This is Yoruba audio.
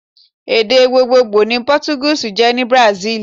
Èdè gbogbogbò ni pótúgíìsì jé ní Brazil